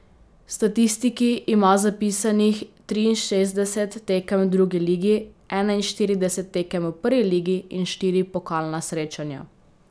V statistiki ima zapisanih triinšestdeset tekem v drugi ligi, enainštirideset tekem v prvi ligi in štiri pokalna srečanja.